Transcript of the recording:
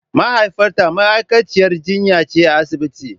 Mahaifiyata ma'aikaciyar jinya ce a asibitin.